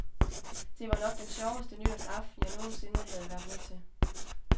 Det var nok den sjoveste nytårsaften, jeg nogensinde havde været med til.